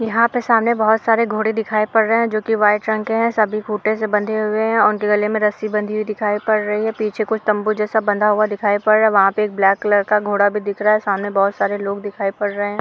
यहा पे सामने बहुत सारे घोड़े दिखाय पड़ रहे है जो वाईट रंग के है। स्सभी फूटे से बंधे हुए है उनेक गले में रस्सी बनी दिखाय दे पड़ रही है। पीछे खुच तब्बू जेसा दिखाय पड़ रहा ह। वहा पे एक ब्लेक कलर का घोड़ा भी दिख रहा है सामने बहुत सारे लोग दिखाय पड़ रहा है।